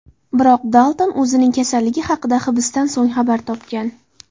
Biroq Dalton o‘zining kasalligi haqida hibsdan so‘ng xabar topgan.